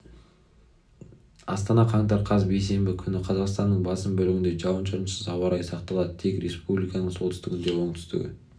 астана қаңтар қаз бейсенбі күні қазақстанның басым бөлігінде жауын-шашынсыз ауа райы сақталады тек республиканың солтүстігінде оңтүстігі